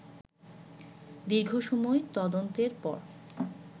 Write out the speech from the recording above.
দীর্ঘসময় তদন্তের পর